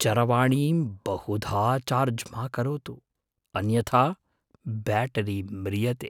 चरवाणीं बहुधा चार्ज् मा करोतु, अन्यथा ब्याटरी म्रियते।